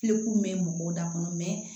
Fikun bɛ mɔgɔw da kɔnɔ